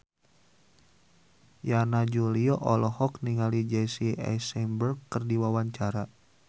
Yana Julio olohok ningali Jesse Eisenberg keur diwawancara